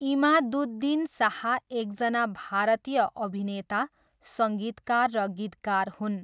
इमादुद्दिन शाह एकजना भारतीय अभिनेता, सङ्गीतकार र गीतकार हुन्।